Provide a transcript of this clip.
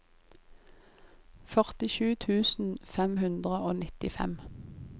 førtisju tusen fem hundre og nittifem